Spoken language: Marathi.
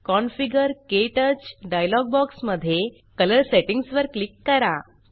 कॉन्फिगर - क्टच डायलॉग बॉक्स मध्ये कलर सेटिंग्ज वर क्लिक करा